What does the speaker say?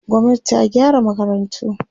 gwamnati ta gyara makarantu